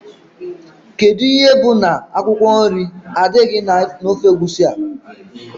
Kedụ ihe bụ na akwụkwọ nri adịrọ na ofe Egusi a?